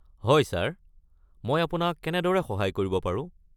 হয় ছাৰ, মই আপোনাক কেনেদৰে সহায় কৰিব পাৰো?